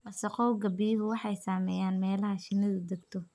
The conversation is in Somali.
Wasakhowga biyuhu waxay saameeyaan meelaha shinnidu degto.